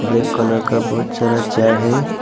एक कलर का बहुत सारा है।